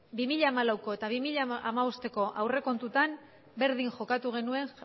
bi mila hamalauko eta bi mila hamabosteko aurrekontuetan berdin jokatu genuen